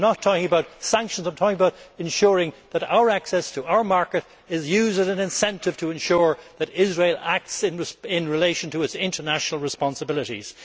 I am not talking about sanctions. I am talking about ensuring that access to our market is used as an incentive to ensure that Israel acts in relation to its international responsibilities.